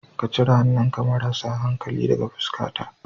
Ka cire hannunka marasa hankali daga fuskata.